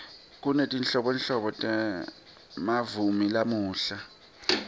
kunetinhlobonhlobo temamuvi lamuhla